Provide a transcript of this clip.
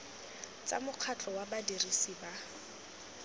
tsa mokgatlho wa badirisi ba